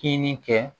Kini kɛ